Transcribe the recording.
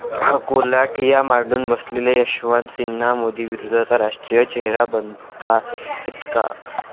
अकोल्यात ठिय्या मांडून बसलेले यशवंत सिन्हा मोदी विरोधाचा राष्ट्रीय चेहरा बनताहेत का?